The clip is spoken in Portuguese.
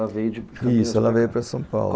Ela veio de... Isso, ela veio para São Paulo.